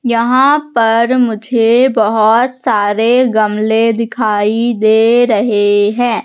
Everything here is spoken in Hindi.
यहां पर मुझे बहोत सारे गमले दिखाई दे रहे हैं।